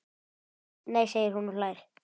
Nei segir hún og hlær.